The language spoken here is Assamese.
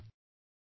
ধন্যবাদ